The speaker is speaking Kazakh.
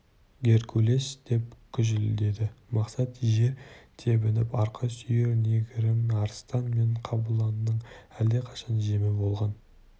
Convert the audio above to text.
геркулес деп күжілдеді мақсат жер тебініп арқа сүйер негірің арыстан мен қабланның әлдеқашан жемі болған